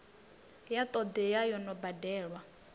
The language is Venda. ya todea yo no badelwa